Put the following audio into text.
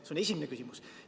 See on esimene küsimus.